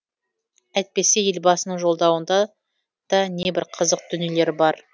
әйтпесе елбасының жолдауында да небір қызық дүниелер бар